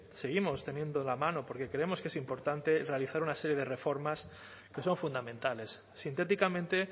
seguimos tendiendo la mano porque creemos que es importante realizar una serie de reformas que son fundamentales sintéticamente